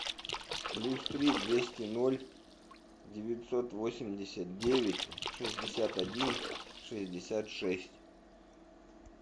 плюс три двести ноль девятьсот восемьдесят девять шестьдесят один шестьдесят шесть